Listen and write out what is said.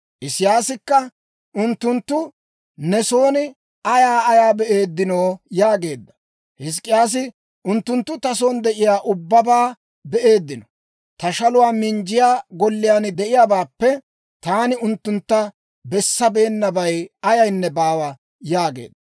Isiyaasi k'aykka, «Unttunttu ne son ayaa ayaa be'eeddinoo?» yaageedda. Hizk'k'iyaasi, «Unttunttu ta son de'iyaa ubbabaa be'eeddino; ta shaluwaa minjjiyaa golliyaan de'iyaabaappe taani unttuntta bessabeennabay ayaynne baawa» yaageedda.